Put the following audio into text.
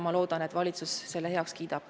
Loodan, et valitsus kiidab selle heaks.